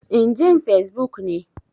In jin Fesbuk ne.